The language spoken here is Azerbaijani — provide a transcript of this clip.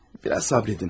Bir az səbr edin.